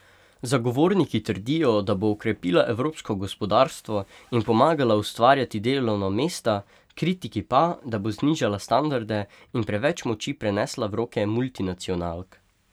Zagovorniki trdijo, da bo okrepila evropsko gospodarstvo in pomagala ustvarjati delovna mesta, kritiki pa, da bo znižala standarde in preveč moči prenesla v roke multinacionalk.